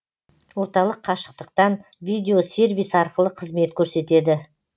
орталық қашықтықтан видеосервис арқылы қызмет көрсетеді